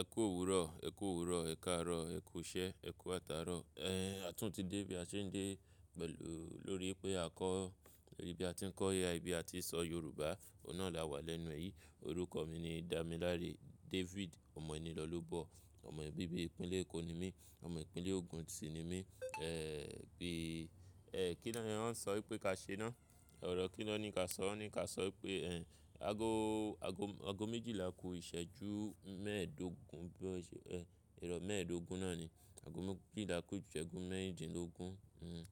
Ẹ kú òwúrọ̀, e ku owuro. Ẹ̀ ká rọ́, ẹ kú iṣẹ́, ẹ kú atà rọ̀. Ẹ̀, a tún ti dé bí a ṣe ń dé pẹ̀lú-- lórí pé a kọ́, bí a ti ń kọ́ Al, bí a ti ń sọ Yorùbá. Òun náà là wà lẹ́nu èyí. Orúkọ mi ni Damilare David Omoenilolobo. Ọmọ bibi ìpínlẹ̀ Eko ni mí. Ọmọ ìpínlẹ̀ Ogun sì ni mí. Ẹ̀, pé, ẹ̀, kí ni wọ́n ń sọ wípé ka ṣe náà? Ọ̀rọ̀ kín lọ́ ni ka sọ́? Wọ́n ní ka sọ wípé, ẹ̀, ago, ago, ago méjìlá kó ìṣẹ́jú mẹ́ẹ̀ẹ́dógún. Bí-- ẹ̀, ìrọ̀ mẹ́ẹ̀ẹ́dógún náà ni. Ago méjìlá kó ìṣẹ́jú mẹ́ẹ̀ẹ́dínlógún. Hmm.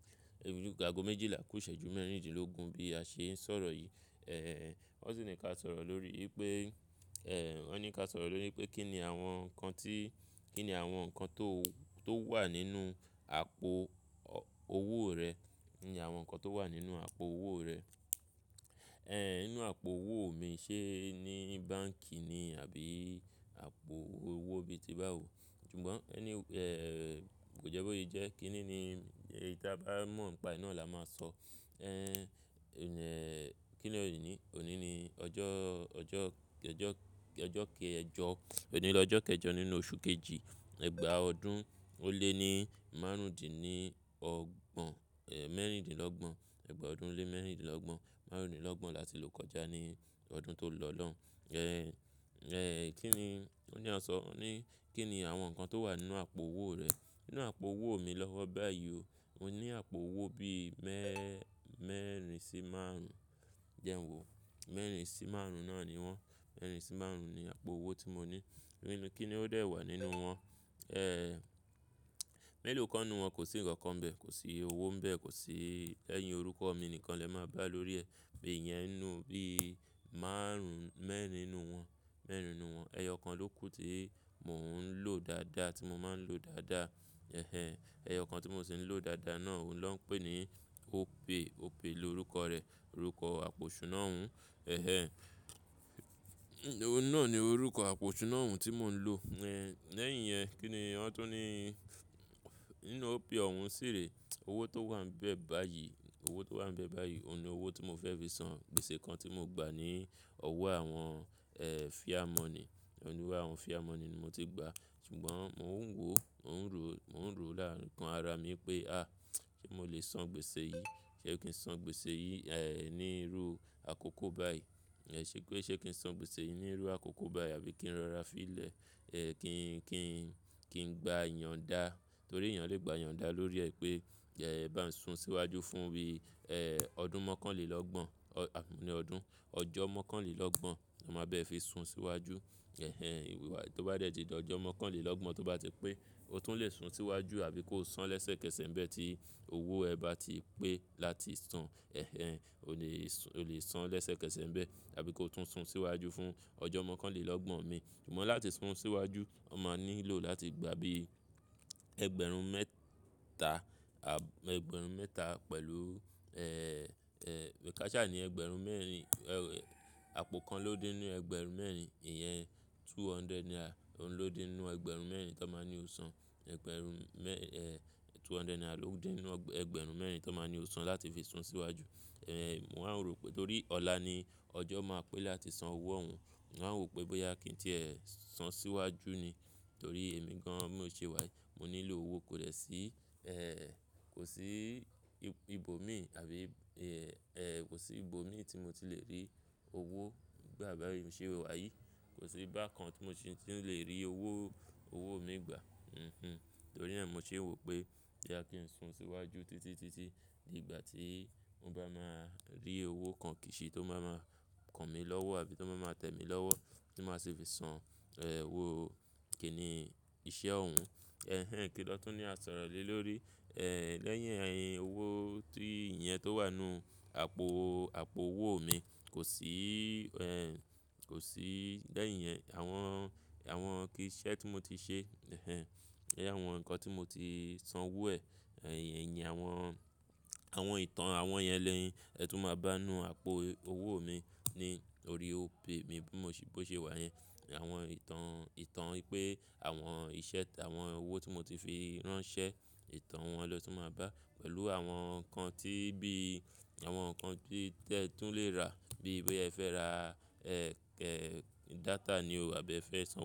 Ago méjìlá kó ìṣẹ́jú mẹ́ẹ̀ẹ́dínlógún bí a ṣe ń sọ̀rọ̀ yìí. Ẹ̀, wọ́n sì ní ka sọ̀rọ̀ lórí pé, ẹ̀, wọ́n ní ka sọ̀rọ̀ lórí pé kí ni àwọn nǹkan tí, kí ni àwọn nǹkan tó, tó wà nínú àpò owó rẹ. Kí ni àwọn nǹkan tó wà nínú àpò owó rẹ. Ẹ̀, nínú àpò owó mi, ṣé ní báǹk ni àbí àpò owó bí i ti bá wò. Ṣùgbọ́n ẹ ní, ẹ̀, kò jẹ́ bóyí jẹ́. Kí nìní, ìdá bá mọ̀, ìpa iná là máa sọ. Ẹ̀, ẹ́, kí ni ọ̀ní, ọ̀ní ni ọjọ́, ọjọ́, ọjọ́, ọjọ́ keẹjọ-- ọ̀ní ni ọjọ́ kẹjọ nínú oṣù kejì, ẹgbàá ọdún ó lé ní márùndínlọ́gbọ̀n, ẹ̀, mẹ́rindínlọ́gbọ̀n. Ẹgbàá ọdún lé mẹ́rindínlọ́gbọ̀n márùndínlọ́gbọ̀n láti ló kọjá ní ọdún tó lọ lọ́wọ́n. Ẹ̀, ẹ̀, kí ni wọ́n ní a sọ́? Wọ́n ní kí ni àwọn nǹkan tó wà nínú àpò owó rẹ. Nínú àpò owó mi lọ́wọ́ báyìí o, mo ní àpò owó bí i mẹ́, mẹ́rìn sí márùn-ún. Jẹ́ń wo. Mẹ́rìn sí márùn-ún náà ni wọ́n. Mẹ́rìn sí márùn-ún ni àpò owó tí mo ní. Nínú, kí ni ó dé wà nínú wọn? Ẹ́, mẹ́lòó kán nu wọn? Kò sí ǹkan kan n bẹ́ẹ̀. Kò sí owó ń bẹ́ẹ̀. Kò sí lẹ́yìn orúkọ mi nìkan lẹ máa bá lórí ẹ̀. Iyẹn ninu bí i márùn-ún, mẹ́rin nínú wọn, mẹ́rin nínú wọn. Ẹyọ kan ló kù tí mò ń lò dáadáa, tí mo máa ń lò dáadáa. Ẹhẹn. Ẹyọ kan tí mò ń sì ń lò dáadáa náà, òun ló ń pè ní Opay. Opay lorúkọ rẹ̀. Orúkọ àpò ṣú náà ń. Ẹ̀hẹn. Òun náà ni orúkọ àpò ṣú náà ń tí mò ń lò. Ẹ̀, lẹ́yìn yẹn, kí ni wọ́n tún ní? Nínú Opay ọ̀hún ṣìre, owó tó wà níbẹ̀ báyìí, owó tó wà níbẹ̀ báyìí, òun ni owó tí mo fẹ́ fi san gbèsè kan tí mo gbà ní ọwọ́ àwọn, ẹ́ẹ́, fìá mọ̀nì. Lori àwọn fìá mọ̀nì ni mo ti gba. Ṣùgbọ́n mò ń wò, mò ń rò, mò ń rò láàárín kan ara mi pé, "À! Sé mo lè san gbèsè yìí? Sé kí n san gbèsè yìí, ẹ́ẹ́, ní irú àkókò báyìí?" Ẹ̀, ṣé pe ṣé kí n san gbèsè yìí ní irú àkókò báyìí àbí kí n rọra fílẹ̀, ẹ́, kí n, kí n, kí n gba ìyonda. Torí èèyàn lè gba ìyonda lórí ẹ pé, ẹ́, ebá ń sun síwájú fún bí, ẹ́ẹ́, ọdún mọ́kànlélọ́gbọ̀n. Àbí ní ọdún. Ọjọ́ mọ́kànlélọ́gbọ̀n. Ó máa bẹ́ẹ̀ fi sun síwájú. Ẹhẹn. Tó bá rẹ̀ tí di ọjọ́ mọ́kànlélọ́gbọ̀n tó bá ti pé, o tún lè sun síwájú àbí kó san lẹ́sẹ̀kẹsẹ̀ ńibẹ̀ tí owó ẹ bá ti pé láti san. Ẹhẹn. O lè san lẹ́sẹ̀kẹsẹ̀ ńibẹ̀ àbí ko tún sun síwájú fún ọjọ́ mọ́kànlélọ́gbọ̀n mi. Ṣùgbọ́n láti sun síwájú, oma nílò láti gba bí i ẹgbẹ̀rún mẹ́ta, à, ẹgbẹ̀rún mẹ́ta pẹ̀lú, ẹ́ẹ́, ẹ́ẹ́, kasà ní ẹgbẹ̀rún mẹ́rin. Ẹ́, àpò kan ló dín ni ẹgbẹ̀rún mẹ́rin. Ìyẹn two hundred naira ló dín nínú ẹgbẹ̀rún mẹ́rin tan máa ní o san. Ẹgbẹ̀rún mẹ ẹ́ẹ́, two hundred naira ló dín nínú ẹgbẹ̀rún mẹ́rin tan máa ní o san láti fi sun síwájú. Ẹ̀, mò ń wa n rò pé torí ọ̀la ni ọjọ́ máa pé láti san owó ọ̀hún. Mò wa n wo pé bóyá kí n tì ẹ́ sun síwájú ni. Torí èmi gan an mi ò ṣe wá yìí. Mo nílò owó. Kò de sí, ẹ́ẹ́, kò sí ibo mi àbí, ẹ́ẹ́, kò sí ibo mi tí mo ti lè rí owó gbà bá yi i ṣe wá yìí. Kò sí bakan tí mo ti lè rí owó, owó mi gbà. Hhm. Torí náà mo ṣe ń wo pé boya kí ń sún síwájú títí, títí di ìgbà tí mo ba máa rí owó kan kìsi tó máa máa kàn mí lọ́wọ́ àbí tó máa máa tẹ mi lọ́wọ́ tí màá sì fi san, ẹ́ẹ́, owó kìíní iṣẹ́ ọ̀hún. Ẹhẹn. Kí lọ́tún ní a sọ̀rọ̀ lé lórí? Ẹ̀, lẹ́yìn owó tí ìyẹn tó wà nínú àpò, àpò owó mi kò sí, ẹ́ẹ́, kò sí lẹ́yìn yẹn àwọn, àwọn kí iṣẹ́ tí mo ti ṣe, ẹ̀hẹn. Àwọn nǹkan tí mo ti san owó ẹ̀, ẹ̀yin awọn, àwọn ìtàn àwọn yẹn ni ẹ tún máa bá a ninu àpò owó mi ní orí Opay mi bí mo ṣe, bó ṣe wà yẹn. Àwọn ìtàn, ìtàn wipé àwọn iṣẹ́, àwọn owó tí mo ti fi ránṣẹ́, ìtàn wọn lo tún máa bá pẹ̀lú àwọn nǹkan tí bí i, àwọn nǹkan tí ẹ tún lè rà bí i boya e fẹ́ ra, ẹ́ẹ́, data ni o àbí ẹ fẹ́ san.